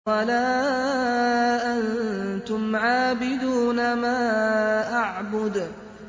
وَلَا أَنتُمْ عَابِدُونَ مَا أَعْبُدُ